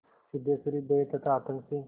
सिद्धेश्वरी भय तथा आतंक से